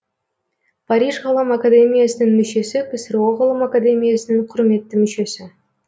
париж ғылым академиясының мүшесі ксро ғылым академиясының құрметті мүшесі